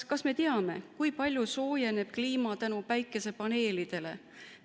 Kas me teame, kui palju soojeneb kliima tänu päikesepaneelidele?